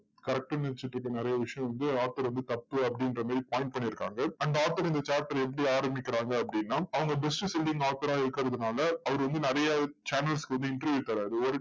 correct ன்னு நினைச்சுட்டு இருக்க நிறைய விஷயம் வந்து author வந்து தப்பு அப்படிங்கற மாதிரி point பண்ணி இருக்காங்க அந்த author இந்த chapter அ எப்படி ஆரம்பிக்கிறாங்க அப்படின்னா, அவங்க best selling author ஆ இருக்கறதுனால, அவர் வந்து நிறைய channels க்கு வந்து interview தர்றாரு. ஒரு